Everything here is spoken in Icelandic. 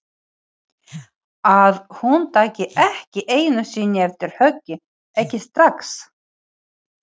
Að hún taki ekki einu sinni eftir höggi, ekki strax.